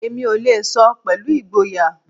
Èmi ò lè sọ pẹ̀lú ìgboyà